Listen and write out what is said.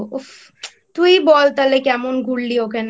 তুই বল তাহলে কেমন ঘুরলি ওখানে?